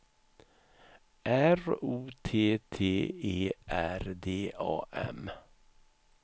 R O T T E R D A M